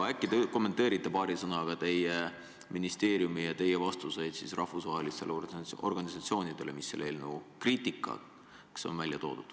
Äkki te kommenteerite paari sõnaga teie ministeeriumi ja teie enda vastuseid rahvusvaheliste organisatsioonide kriitikale.